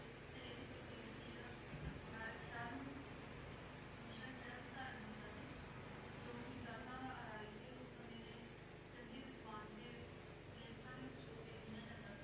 ਤੇ ਏਥੇ ਪੇਰ੍ਸਿਧ ਪੀਰ ਅਨਾਯਤ ਸ਼ਾਹ ਨੂ ਮੁਰਸ਼ਦ ਜੇਰਾ ਸੀ ਧਾਰਨ ਕੀਤਾ ਸੀ ਜੋ ਕੇ ਜਾਤਾਂ ਦਾ ਅਰੀਨ ਤੇ ਓਸ ਸਮੇ ਦੇ ਚੰਗੇ ਵਿਦਵਾਨ ਤੇ ਲਿਖਤਾਂ ਦੇ ਵਿਚੋਂ ਗਿਨ੍ਯ ਜਾਂਦਾ ਸੀ